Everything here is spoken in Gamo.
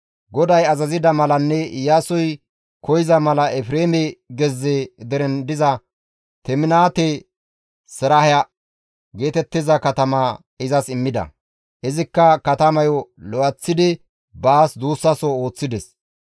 GODAY azazida malanne Iyaasoy koyza mala Efreeme gezze deren diza Teminaate-Seraaha geetettiza katama izas immida. Izikka katamayo lo7eththidi baas duussaso ooththides.